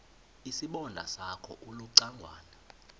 isibonda sakho ulucangwana